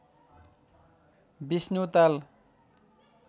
Vishnu Tal